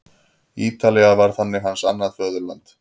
Ítalía varð þannig hans annað föðurland.